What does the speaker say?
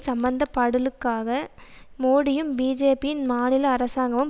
சம்பந்தப்படலுக்காக மோடியும் பிஜேபியின் மாநில அரசாங்கமும்